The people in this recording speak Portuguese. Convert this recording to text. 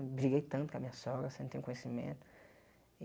Briguei tanto com a minha sogra, sem ter um conhecimento. E